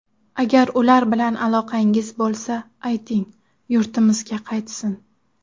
Agar ular bilan aloqangiz bo‘lsa, ayting, yurtimizga qaytsin.